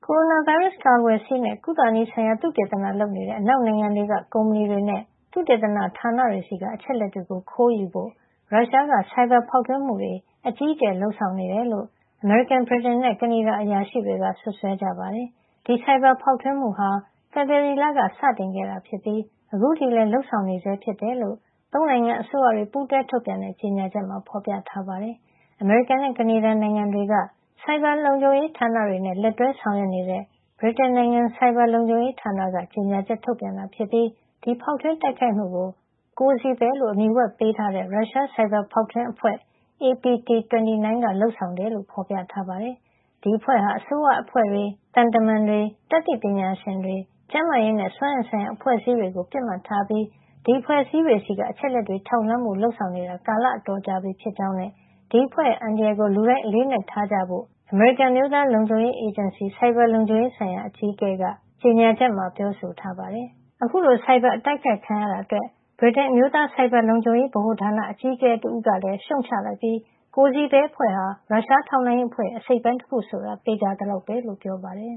ိုရိုနာဗိုင်းရပ်စ်ကာကွယ်ဆေးနဲ့ ကုသနည်းဆိုင်ရာ သုတေသနလုပ်နေတဲ့ အနောက်နိုင်ငံတွေက ကုမ္ပဏီတွေနဲ့ သုတေသနဌာနတွေဆီက အချက်အလက်တွေကို ခိုးယူဖို့ ရုရှားက ဆိုင်ဘာဖောက်ထွင်းမှုတွေ အကြီးအကျယ် လုပ်ဆောင်နေတယ်လို့ အမေရိကန်၊ ဗြိတိန်နဲ့ ကနေဒါ အရာရှိတွေက စွပ်စွဲကြပါတယ်။ ဒီ ဆိုင်ဘာဖေါက်ထွင်းမှုဟာ ဖေဖေါ်ဝါရီလက စတင်ခဲ့တာ ဖြစ်ပြီး အခုထိလည်း လုပ်ဆောင်နေဆဲ ဖြစ်တယ်လို့ ၃ နိုင်ငံအစိုးရတွေ ပူးတွဲထုတ်ပြန်တဲ့ ကြေညာချက်မှာ ဖေါ်ပြထားပါတယ်။ အမေရိကန်နဲ့ ကနေဒါ နိုင်ငံတွေက ဆိုင်ဘာလုံခြုံရေးဌာနတွေနဲ့ လက်တွဲ ဆောင်ရွက်နေတဲ့ ဗြိတိန်နိုင်ငံရဲ့ ဆိုင်ဘာလုံခြုံရေးဌာနက ကြေညာချက် ထုတ်ပြန်ခဲ့တာ ဖြစ်ပြီး ဒီဖောက်ထွင်းတိုက်ခိုက်မှုကို Cozy Bear လို့အမည်ဝှက်ပေးထားတဲ့ ရုရှား ဆိုင်ဘာဖေါက်ထွင်းအဖွဲ့ APT29 ကလုပ်ဆောင်တာ ဖြစ်ကြောင်း ဖေါ်ပြထားပါတယ်။ APT29 အဖွဲ့ဟာ အစိုးရအဖွဲ့တွေ၊ သံတမန်တွေ၊ တတ်သိပညာရှင်အဖွဲ့တွေ၊ ကျန်းမာရေးနဲ့ စွမ်းအင်ဆိုင်ရာ အဖွဲ့အစည်းတွေ ကို ပစ်မှတ်ထားပြီး ဒီအဖွဲ့အစည်းတွေဆီက အချက်အလက်တွေ ထောက်လှမ်းဖို့ လုပ်ဆောင်နေတာ ကာလ အတော်ကြာပြီဖြစ်ကြောင်းနဲ့ ဒီအဖွဲ့ရဲ့ အန္တရာယ်ကို လူတိုင်း အလေးအနက်ထားကြဖို့လည်း အမေရိကန် အမျိုးသားလုံခြုံရေးအေဂျင်စီ NSA က ဆိုင်ဘာလုံခြုံရေး ဆိုင်ရာ အကြီးအကဲ Anne Neuberger က ကြေညာချက်မှာ ပြောဆိုထားပါတယ်။ အခုလို ဆိုင်ဘာအတိုက်ခိုက်ခံရတာအတွက် ဗြိတိန် အမျိုးသားဆိုင်ဘာ လုံခြံရေးဗဟိုဌာန အကြီးအကဲ တဦးဖြစ်တဲ့ Paul Chichester ကလည်း ရှုံ့ချလိုက်ပြီး Cozy Bear အဖွဲ့ဟာ ရုရှားထောက်လှမ်းရေးအဖွဲ့ရဲ့ အစိတ်အပိုင်း တခုဆိုတာ သေချာသလောက်ပဲ လို့ပြောပါတယ်